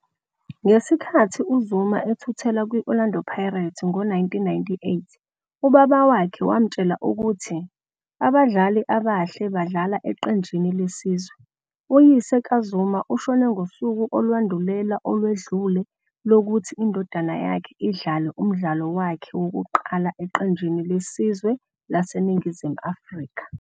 Ngesikhathi uZuma ethuthela kwiOrlando Pirates ngo1998,ubaba wakhe wamtshela ukuthi "Abadlali abahle badlala eqenjini lesizwe."Uyise kaZuma ushone ngosuku olwandulela olwedlule lokuthi indodana yakhe idlale umdlalo wakhe wokuqala eqenjini lesizwe laseNingizimu Afrika